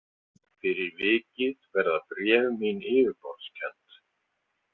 Fyrir vikið verða bréf mín yfirborðskennd.